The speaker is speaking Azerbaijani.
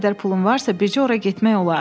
Bu qədər pulun varsa, bircə ora getmək olar.